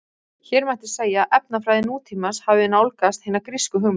Hér mætti segja að efnafræði nútímans hafi nálgast hina grísku hugmynd.